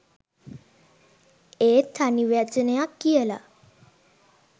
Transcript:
ඒත් තනි වචනයක් කියලා